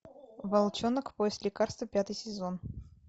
волчонок поиск лекарства пятый сезон